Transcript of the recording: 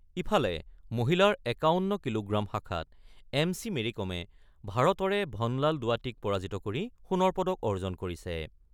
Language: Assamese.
ইফালে, মহিলাৰ ৫১ কিলোগ্ৰাম শাখাত এম চি মেৰিকমে ভাৰতৰে ভনলাল দুৱাটিক পৰাজিত কৰি সোণৰ পদক অৰ্জন কৰিছে।